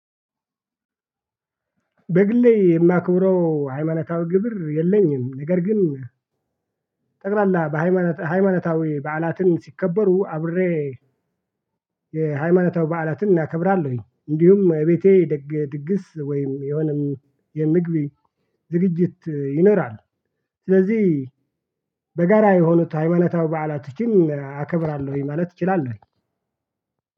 በግሌ የማክብረው ሃይማኖታዊ ግብር የለኝም ነገር ግን። በሃይማኖታዊ በዓላትን ሲከበሩ አብሬ የሃይማኖታዊ በዓላትን እናከብራለሁኝ። እንዲሁም የቤቴ ድግስ ወይም የሆነም የምግቢ ዝግጅት ይኖራል። ስለዚህ በጋራ የሆነ ታይሀይማኖታዊ በዓላቶች አከብራለሁኝ ማለት እችላለሁኝ።